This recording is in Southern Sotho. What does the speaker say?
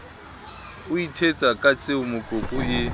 o ithetsa ka tsiemokopu e